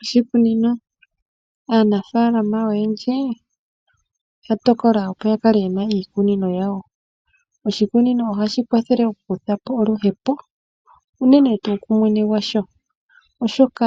Oshikunino, aanafaalama oyendji oya tokola opo ya kale ye na iikunino yawo. Oshikunino ohashi kwathele okukutha po oluhepo, unene tuu kumwene gwasho oshoka